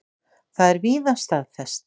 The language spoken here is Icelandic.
Það er víða staðfest.